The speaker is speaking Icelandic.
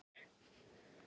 Jafnan er